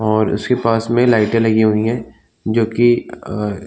और उसके पास में लाइटे लगी हुईं हैं जो की अ --